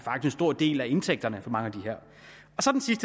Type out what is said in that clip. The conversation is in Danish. er en stor del af indtægterne for mange